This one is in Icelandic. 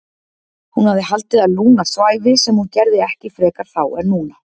Hún hafði haldið að Lúna svæfi sem hún gerði ekki frekar þá en núna.